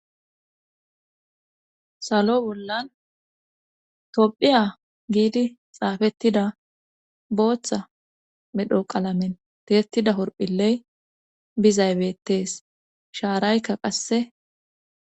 Salo bollan tophiya giidi xaafettida booththa medho qalamen teetida horphiley bizaybeettees shaaraykka qasse.